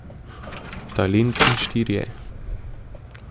Talent in štirje.